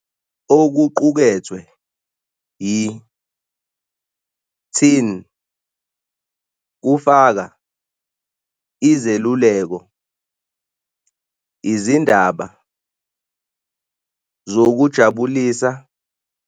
Okuqukethwe yi- "Teen" kufaka izeluleko, izindaba zokuzijabulisa.